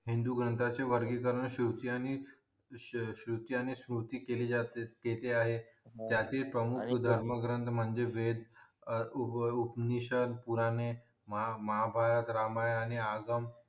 हिंदू ग्रंथाची वर्गीकरण श्रूची आणि श्रुती केली असते केली आहे त्यातील आणि त्यातिला धर्म ग्रंथ म्हणजे वेद अं महाभारत रामायण आणि आगम